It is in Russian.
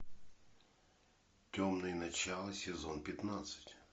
темное начало сезон пятнадцать